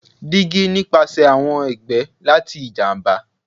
Digi nipasẹ awọn ẹgbẹ spoiled lati ijamba